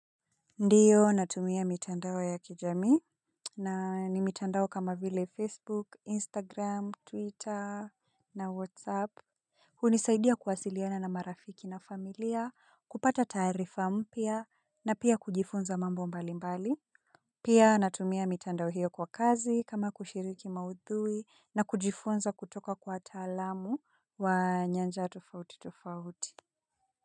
Ndiyo natumia mitandao ya kijamii na ni mitandao kama vile Facebook, Instagram, Twitter na Whatsapp hunisaidia kuwasiliana na marafiki na familia kupata taarifa mpya na pia kujifunza mambo mbalimbali. Pia natumia mitandao hiyo kwa kazi kama kushiriki maudhui na kujifunza kutoka kwa wataalamu wa nyanja tofauti tofauti.